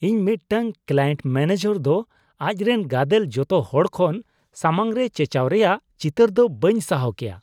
ᱤᱧ ᱢᱤᱫᱴᱟᱝ client manager ᱫᱚ ᱟᱡ ᱨᱮᱱ ᱜᱟᱫᱮᱞ ᱡᱚᱛᱚ ᱦᱚᱲ ᱠᱷᱚᱱ ᱥᱟᱢᱟᱝ ᱨᱮ ᱪᱮᱪᱟᱣ ᱨᱮᱭᱟᱜ ᱪᱤᱛᱟᱹᱨ ᱫᱚ ᱵᱟᱹᱧ ᱥᱟᱦᱟᱣ ᱠᱮᱭᱟ ᱾